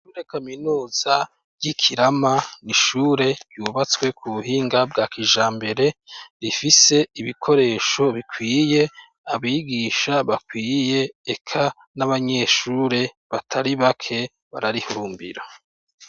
Ishure kaminuza ry'Ikirama ni ishure ryubatswe ku buhinga bwa kijambere, rifise ibikoresho bikwiye, abigisha bakwiye, eka n'abanyeshure batari bake bararihurumbira.